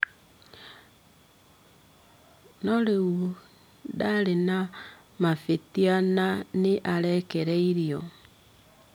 No rĩu ndarĩ na mavĩtia na nĩ arekereirio.